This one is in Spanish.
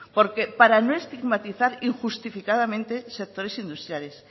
porque para no estigmatizar injustificadamente sectores industriales